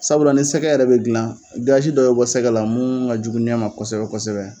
Sabula ni sɛgɛ yɛrɛ bɛ dilan, gazi dɔ be bɔ sɛgɛ la mun ka jugu ɲɛ ma kosɛbɛ kosɛbɛ.